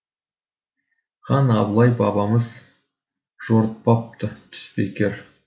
хан абылай бабамыз жорытпапты түс бекер